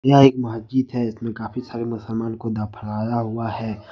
यह एक मस्जिद है इसमें काफी सारे मुसलमान को दफनाया हुआ है।